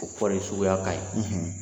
O kɔɔri suguya ka ɲi